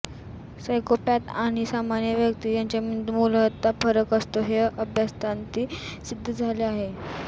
psychopath आणि सामन्य व्यक्ती यांच्या मेंदूत मुलतः फरक असतो हे अभ्यासांती सिद्ध झाले आहे